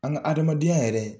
An ga adamadenya yɛrɛ